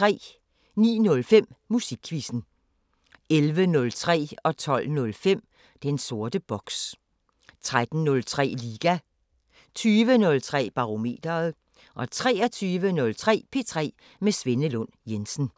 09:05: Musikquizzen 11:03: Den sorte boks 12:05: Den sorte boks 13:03: Liga 20:03: Barometeret 23:03: P3 med Svenne Lund Jensen